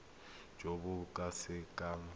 jo bo ka se keng